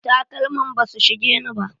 Takalman basu shigeni ba.